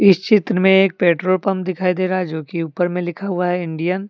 इस चित्र में एक पेट्रोल पंप दिखाई दे रहा है जो कि ऊपर में लिखा हुआ है इंडियन --